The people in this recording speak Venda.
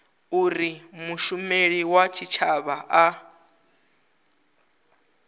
uri mushumeli wa tshitshavha a